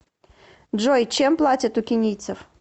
джой чем платят у кенийцев